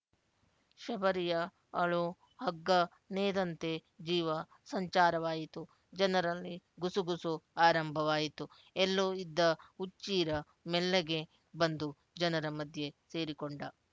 ಶಬರಿಯ ಅಳು ಹಗ್ಗ ನೇದಂತೆ ಜೀವ ಸಂಚಾರವಾಯಿತು ಜನರಲ್ಲಿ ಗುಸುಗುಸು ಆರಂಭವಾಯಿತು ಎಲ್ಲೋ ಇದ್ದ ಹುಚ್ಚೀರ ಮೆಲ್ಲಗೆ ಬಂದು ಜನರ ಮಧ್ಯೆ ಸೇರಿಕೊಂಡ